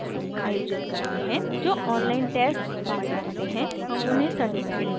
जो online test pass करते हैं हम उन्हें certificates भी देते हैं